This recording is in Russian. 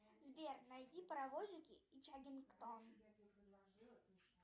сбер найди паровозики из чаггингтона